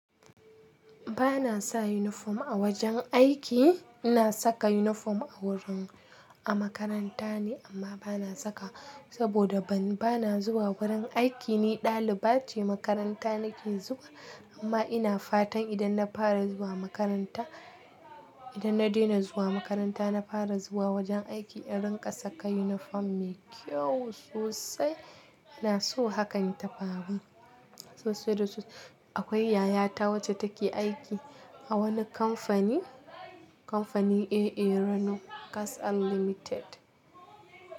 Ba na sa uniform a wajen aiki. Ina saka uniform a wurin, a makaranta ne amma ba na saka saboda ba na zuwa wurin aiki, ni daliba ce makaranta na ke zuwa. Amma ina fatan idan na fara zuwa makaranta, idan na dena zuwa makaranta, na fara zuwa wajen aiki, in rinƙa saka uniform mai kyau sosai. Ina so hakan tafaru. Sosai da sosai. Akwai yayata wacce take aiki a wani kamfani, kamfanin AA Rano Gas Unlimited.